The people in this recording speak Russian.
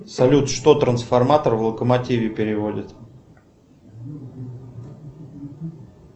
салют что трансформатор в локомотиве переводит